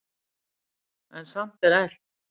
En samt er elt.